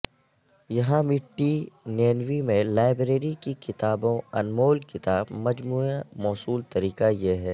یہاں مٹی نینوی میں لائبریری کی کتابوں انمول کتاب مجموعہ موصول طریقہ یہ ہے